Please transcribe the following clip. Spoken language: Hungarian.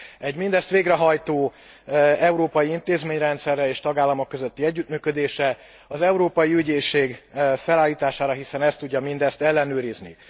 Egy mindezt végrehajtó európai intézményrendszerre és tagállamok közötti együttműködésre. Az európai ügyészség felállítására, hiszen ez tudja mindezt ellenőrizni.